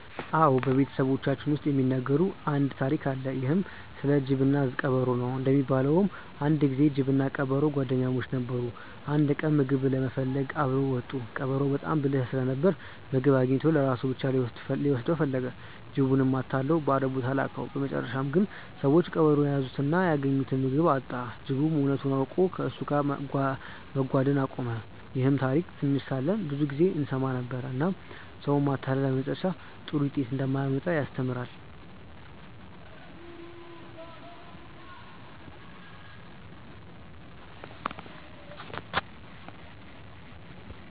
አዎ፣ በቤተሰባችን ውስጥ የሚነገር አንድ ታሪክ አለ። ይህም ስለ ጅብና ቀበሮ ነው። እንደሚባለው አንድ ጊዜ ጅብና ቀበሮ ጓደኛሞች ነበሩ። አንድ ቀን ምግብ ለመፈለግ አብረው ወጡ። ቀበሮው በጣም ብልህ ስለነበር ምግብ አግኝቶ ለራሱ ብቻ ሊወስድ ፈለገ። ጅቡንም አታሎ ባዶ ቦታ ላከው። በመጨረሻ ግን ሰዎች ቀበሮውን ያዙትና ያገኘውን ምግብ አጣ። ጅቡም እውነቱን አውቆ ከእሱ ጋር መጓደን አቆመ። ይህን ታሪክ ትንሽ ሳለን ብዙ ጊዜ እንሰማ ነበር፣ እናም ሰውን ማታለል በመጨረሻ ጥሩ ውጤት እንደማያመጣ ያስተምራል።